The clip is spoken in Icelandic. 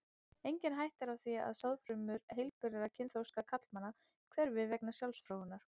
Engin hætta er á því að sáðfrumur heilbrigðra kynþroska karlmanna hverfi vegna sjálfsfróunar.